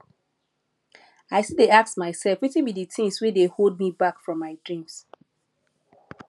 i still dey ask myself wetin be di things wey dey hold me back from my dreams